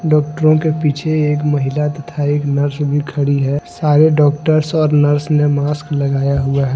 Doctor के पीछे एक महिला तथा एक नर्स भी खड़ी है सारे डॉक्टर्स और नर्स ने मास्क लगाए हुआ है।